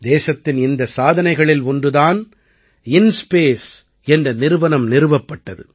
தேசத்தின் இந்தச் சாதனைகளில் ஒன்று தான் இன்ஸ்பேஸ் என்ற நிறுவனம் நிறுவப்பட்டது